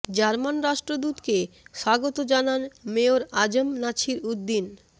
German রাষ্ট্রদূতকে স্বাগত জানান মেয়র আ জ ম নাছির উদ্দীন